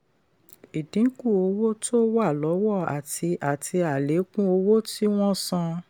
ìdínkù owó tó wà lọ́wọ́ àti àti àlékún owó tí wọ́n san.